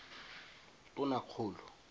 tonakgolo